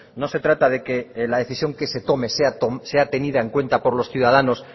no se trata de que la decisión que se tome sea tenida en cuenta por los ciudadanos